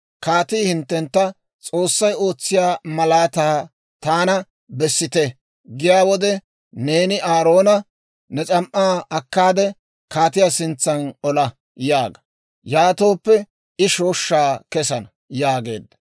«Kaatii hinttentta, ‹S'oossay ootsiyaa malaataa taana bessite› giyaa wode, neeni Aaroona, ‹Ne s'am"aa akkaade, kaatiyaa sintsan ola› yaaga; yaatooppe I shooshshaa kessana» yaageedda.